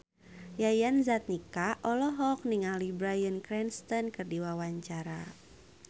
Yayan Jatnika olohok ningali Bryan Cranston keur diwawancara